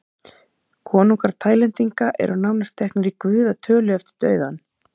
Konungar Taílendinga eru nánast teknir í guðatölu eftir dauðann.